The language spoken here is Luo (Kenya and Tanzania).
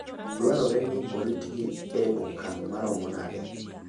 Dwarore ni oritgi e okang' maromo nade?